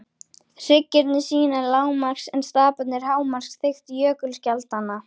Hryggirnir sýna lágmarks- en staparnir hámarksþykkt jökulskjaldanna.